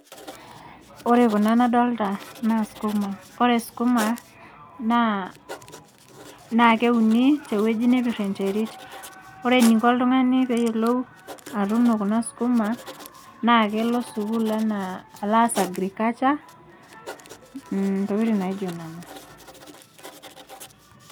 Ore kuna nadolta naa skuma. Ore skuma, naa keuni tewueji nepir enterit. Ore eninko oltung'ani peyiolou atuuno kuna skuma, naa kelo sukuul enaa class agriculture, intokiting naijo nena.